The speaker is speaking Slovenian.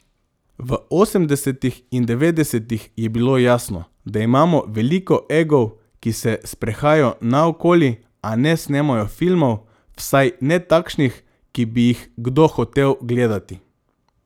V osemdesetih in devetdesetih je bilo jasno, da imamo veliko egov, ki se sprehajajo naokoli, a ne snemajo filmov, vsaj ne takšnih, ki bi jih kdo hotel gledati.